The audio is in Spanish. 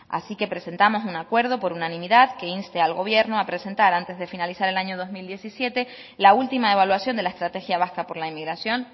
así que presentamos un acuerdo por unanimidad que inste al gobierno a presentar antes de finalizar el año dos mil diecisiete la última evaluación de la estrategia vasca por la inmigración